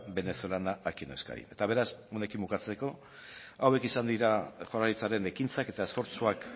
venezolana aquí en euskadi eta beraz honekin bukatzeko hauek izan dira jaurlaritzaren ekintzak eta esfortzuak